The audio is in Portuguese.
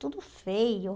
Tudo feio.